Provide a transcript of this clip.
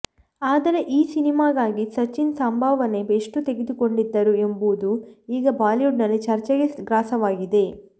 ಆದರೆ ಈ ಸಿನಿಮಾಗಾಗಿ ಸಚಿತ್ ಸಂಭಾವನೆ ಎಷ್ಟು ತೆಗೆದುಕೊಂಡಿದ್ದರು ಎಂಬುದು ಈಗ ಬಾಲಿವುಡ್ನಲ್ಲಿ ಚರ್ಚೆಗೆ ಗ್ರಾಸವಾಗಿದೆ